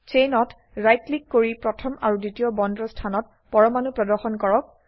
চেইনত right click কৰি প্ৰথম আৰু দ্বিতীয় বন্দৰ স্থানত পৰমাণু প্ৰদৰ্শন কৰক